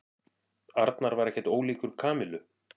Arnar var ekkert ólíkur Kamillu.